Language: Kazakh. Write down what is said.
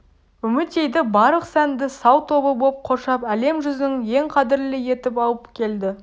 үмітейді барлық сәнді сал тобы боп қоршап әлем жүзінің ең қадірлі етіп алып келді